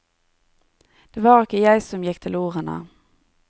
Det var ikke jeg som gikk til ordene.